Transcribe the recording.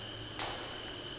yasongoye